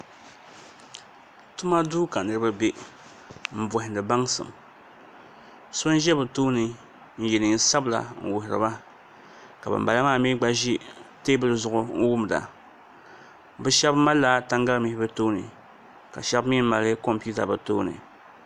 Tuma duu ka niraba bɛ n bohandi baŋsim so n ʒɛ bi tooni n yɛ neen sabila n wuhuriba ka bin bala maa mii gba ʒi teebuli zuɣu n wumda bi shab malila tangali mihi bi tooni ka shab mii mali kompiuta bi tooni